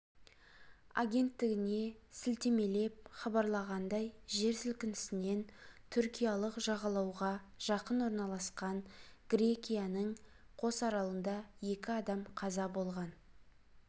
агенттігіне сілтемелеп хабарлағандай жер сілкінісінен түркиялық жағалауға жақын орналасқан грекияның кос аралында екі адам қаза болған